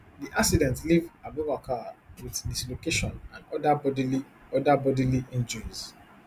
di accident leave abubakar wit dislocation and oda bodily oda bodily injuries